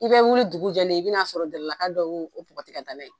I bɛ wuli dugu jɛlen, i bɛna sɔrɔ Jarala ka dɔ y'o bɔgɔti ka taa n'a ye.